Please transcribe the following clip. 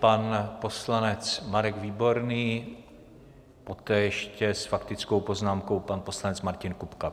Pan poslanec Marek Výborný, poté ještě s faktickou poznámkou pan poslanec Martin Kupka.